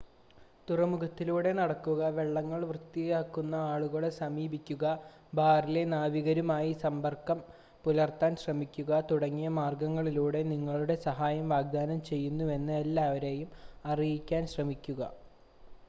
തുറമുഖത്തിലൂടെ നടക്കുക വള്ളങ്ങൾ വൃത്തിയാക്കുന്ന ആളുകളെ സമീപിക്കുക ബാറിലെ നാവികരുമായി സമ്പർക്കം പുലർത്താൻ ശ്രമിക്കുക തുടങ്ങിയ മാർഗ്ഗങ്ങളിലൂടെ നിങ്ങളുടെ സഹായം വാഗ്‌ദാനം ചെയ്യുന്നുവെന്ന് എല്ലാവരെയും അറിയിക്കാൻ ശ്രമിക്കുക